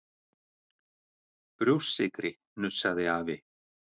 Brjóstsykri!!! hnussaði afi.